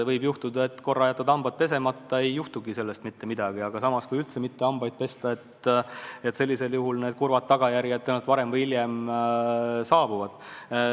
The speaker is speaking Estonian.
Võib juhtuda, et korra jätad hambad pesemata, ei juhtu sellest mitte midagi, aga kui üldse mitte hambaid pesta, siis kurvad tagajärjed tõenäoliselt varem või hiljem saabuvad.